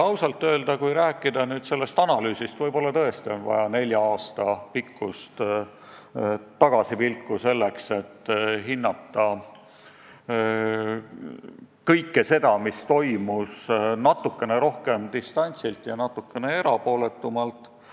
Kui rääkida nüüd sellest analüüsist, siis võib-olla tõesti on vaja nelja aasta pikkust tagasipilku selleks, et hinnata kõike, mis toimus, natukene rohkem distantsilt ja veidi erapooletumalt.